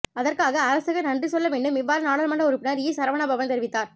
அதற்காக அரசுக்கு நன்றி சொல்ல வேண்டும் இவ்வாறு நாடாளுமன்ற உறுப்பினர் ஈ சரவணபவன் தெரிவித்தார்